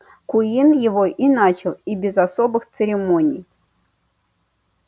куинн его и начал и без особых церемоний